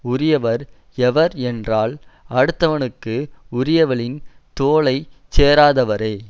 உரியவர் எவர் என்றால் அடுத்தவனுக்கு உரியவளின் தோளைச் சேராதவரே